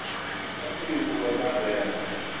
asiyi kuba sangena